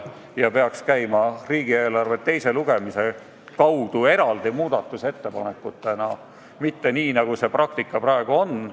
Asju peaks arutama riigieelarve teise lugemise kaudu eraldi muudatusettepanekutena, mitte nii, nagu see praktika praegu on.